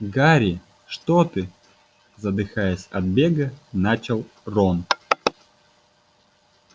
гарри что ты задыхаясь от бега начал рон